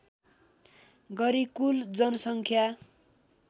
गरी कुल जनसङ्ख्या